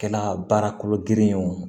Kɛla baara kolo girin ye wo